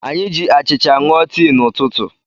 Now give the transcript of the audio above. Anyị ji achịcha ṅụọ tii n'ụtụtụ.